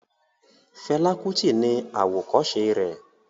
Fela Kuti ni àwòkọ́se rẹ̀